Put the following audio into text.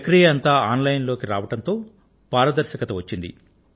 ప్రక్రియ అంతా online లోకి రావడంతో పారదర్శకత వచ్చింది